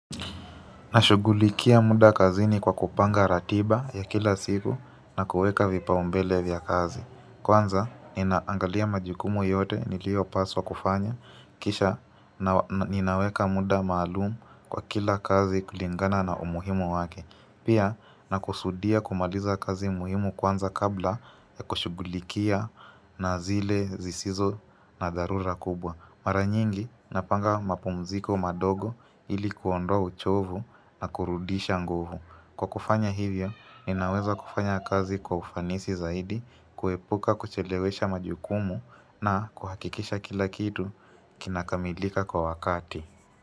Nashugulikia muda kazini kwa kupanga ratiba ya kila siku na kuweka vipaumbele vya kazi. Kwanza ninaangalia majukumu yote niliopaswa kufanya. Kisha ninaweka muda maalumu kwa kila kazi kulingana na umuhimu wake. Pia na kusudia kumaliza kazi muhimu kwanza kabla ya kushugulikia na zile zisizo na dharura kubwa. Mara nyingi napanga mapumziko madogo ili kuondoa uchovu na kurudisha nguvu. Kwa kufanya hivyo, ninaweza kufanya kazi kwa ufanisi zaidi, kuepuka kuchelewesha majukumu na kuhakikisha kila kitu kinakamilika kwa wakati.